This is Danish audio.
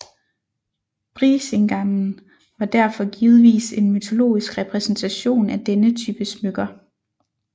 Brísingamen var derfor givetvis en mytologisk repræsentation af denne type smykker